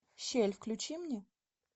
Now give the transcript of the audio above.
щель включи мне